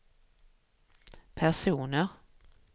personer